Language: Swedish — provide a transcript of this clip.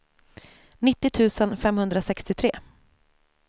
nittio tusen femhundrasextiotre